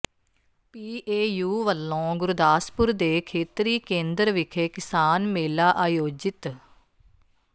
PAU ਵੱਲੋਂ ਗੁਰਦਾਸਪੁਰ ਦੇ ਖੇਤਰੀ ਕੇਂਦਰ ਵਿਖੇ ਕਿਸਾਨ ਮੇਲਾ ਆਯੋਜਿਤ